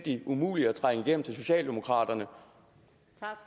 umuligt at trænge igennem til socialdemokraterne